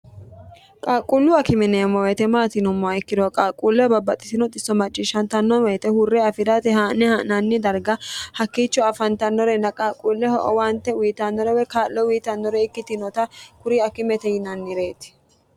qaaqquullu akime yineemmo woyite maati yineemmoha ikkiro qaaqquulleho babbaxxitino xisso macciishshantanno woyite huurre afirate haa'ne ha'nanni darga hakkiicho afantannorenna qaaqquulleho owaante uyitannore woy kaa'lo uyitannore ikkitinota kuri akimete yinannireeti